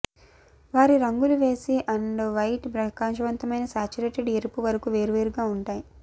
వారి రంగులు వేసి అండ్ వైట్ ప్రకాశవంతమైన సాచ్యురేటెడ్ ఎరుపు వరకు వేర్వేరుగా ఉంటాయి